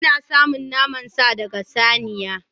Ana samun naman sa daga saniya.